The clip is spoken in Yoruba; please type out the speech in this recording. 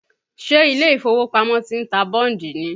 Ṣé ilé ìfowópamọ́ ti ń ta bọ́ǹdì ni?